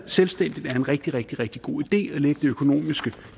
selvstændigt er en rigtig rigtig rigtig god idé at lægge det økonomiske